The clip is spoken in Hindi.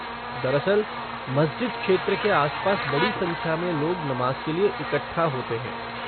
दरअसल, मस्जिद क्षेत्र के आसपास बड़ी संख्या में लोग नमाज के लिए इकट्ठा होते हैं।